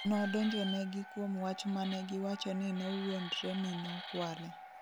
Nodonjonegi kuom wach manegiwacho ni nowuondre ni nokwale